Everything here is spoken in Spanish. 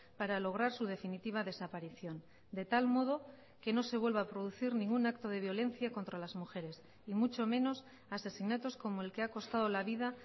para lograr su definitiva desaparición de tal modo que no se vuelva a producir ningún acto de violencia contra las mujeres y mucho menos asesinatos como el que ha costado la vida